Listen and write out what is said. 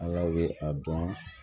A yɛrɛ bɛ a dɔn